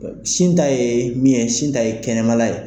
Sin ta ye min ye, sin ta ye kɛnɛma la ye